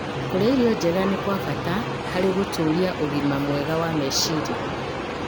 Kũrĩa irio njega nĩ kwa bata harĩ gũtũũria ũgima mwega wa meciria.